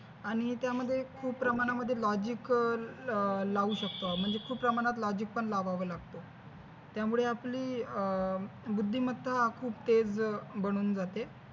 आणि त्यामध्ये खुप प्रमाणामध्ये logic अं लावू शकतो. म्हणजे खुप प्रमाणामध्ये logic पण लावावं लागतं त्यामुळे आपली अं बुद्धिमत्ता खुप तेज बनून जाते.